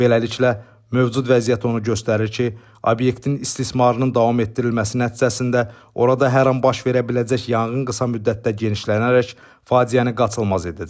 Beləliklə, mövcud vəziyyət onu göstərir ki, obyektin istismarının davam etdirilməsi nəticəsində orada hər an baş verə biləcək yanğın qısa müddətdə genişlənərək faciəni qaçılmaz edəcək.